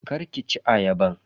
Kar ki ci ayaban.